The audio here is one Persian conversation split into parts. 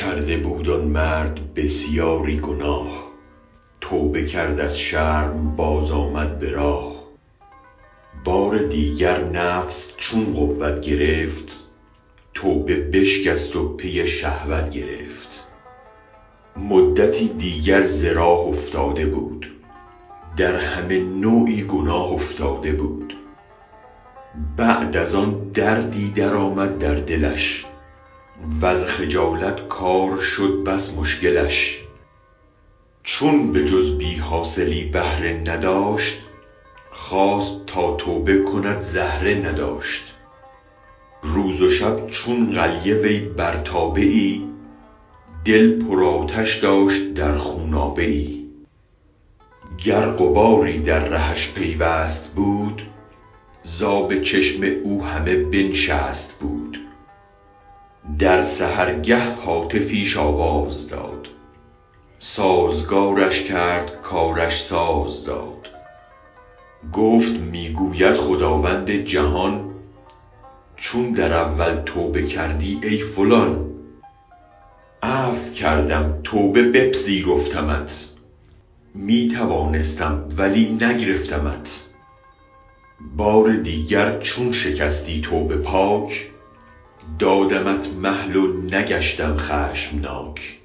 کرده بود آن مرد بسیاری گناه توبه کرد از شرم بازآمد به راه بار دیگر نفس چون قوت گرفت توبه بشکست و پی شهوت گرفت مدتی دیگر ز راه افتاده بود در همه نوعی گناه افتاده بود بعد از آن دردی درآمد در دلش وز خجالت کار شد بس مشکلش چون به جز بی حاصلی بهره نداشت خواست تا توبه کند زهره نداشت روز و شب چون قلیه وی بر تابه ای دل پر آتش داشت در خونابه ای گر غباری در رهش پیوست بود ز آب چشم او همه بنشست بود در سحرگه هاتفیش آواز داد سازگارش کرد کارش ساز داد گفت می گوید خداوند جهان چون در اول توبه کردی ای فلان عفو کردم توبه بپذیرفتمت می توانستم ولی نگرفتمت بار دیگر چون شکستی توبه پاک دادمت مهل و نگشتم خشم ناک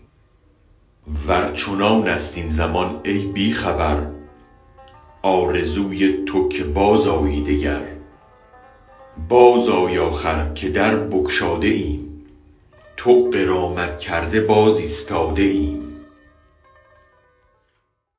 ور چنانست این زمان ای بی خبر آرزوی تو که بازآیی دگر بازآی آخر که در بگشاده ایم تو غرامت کرده باز ایستاده ایم